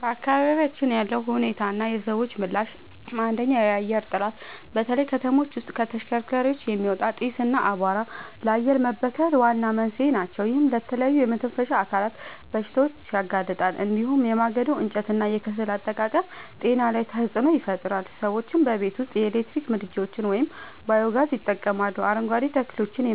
በአካባቢያችን ያለው ሁኔታና የሰዎች ምላሽ፦ 1. የአየር ጥራት፦ በተለይ ከተሞች ውስጥ ከተሽከርካሪዎች የሚወጣ ጢስ እና አቧራ ለአየር መበከል ዋና መንስኤዎች ናቸው። ይህም ለተለያዩ የመተንፈሻ አካላት በሽታዎች ያጋልጣል። እንዲሁም የማገዶ እንጨትና የከሰል አጠቃቀም ጤና ላይ ተጽዕኖ ይፈጥራል። ሰዎችም በቤት ውስጥ የኤሌክትሪክ ምድጃዎችን ወይም ባዮ-ጋዝ ይጠቀማሉ፣ አረንጓዴ ተክሎችን